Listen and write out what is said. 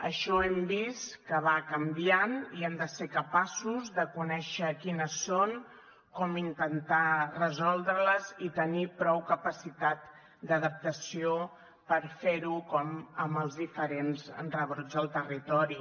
això hem vist que va canviant i hem de ser capaços de conèixer quines són com intentar resoldre les i tenir prou capacitat d’adaptació per fer ho com amb els diferents rebrots al territori